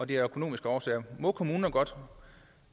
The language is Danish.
det af økonomiske årsager må kommunerne godt